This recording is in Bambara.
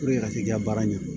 a ka t'i ka baara ɲɛdɔn